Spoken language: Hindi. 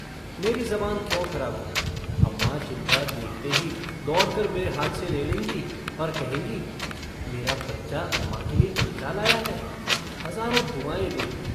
मेरी ज़बान क्यों खराब होगी? अम्माँ चिमटा देखते ही दौड़कर मेरे हाथ से ले लेंगी और कहेंगी - मेरा बच्चा अम्माँ के लिए चिमटा लाया है! हज़ारों दुआएँ देंगी।